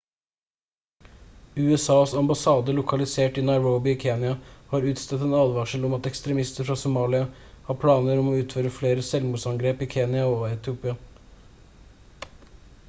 usas ambassade lokalisert i nairobi i kenya har utstedt en advarsel om at «ekstremister fra somalia» har planer om å utføre flere selvmordsbombeangrep i kenya og etiopia